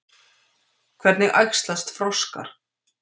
Hvernig æxlast froskar?